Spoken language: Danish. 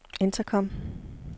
intercom